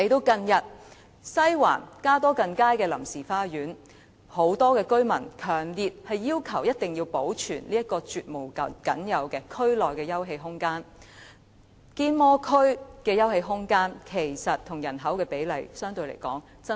近日，針對西環加多近街的臨時花園，很多居民也強烈要求保存這個區內絕無僅有的休憩空間，因堅摩區的休憩空間與其人口比例相比，是十分低的。